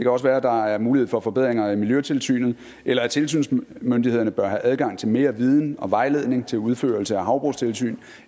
også være at der er mulighed for forbedringer af miljøtilsynet eller at tilsynsmyndighederne bør have adgang til mere viden og vejledning til udførelse af havbrugstilsyn